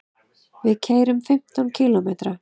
Við keyrum fimmtán kílómetra.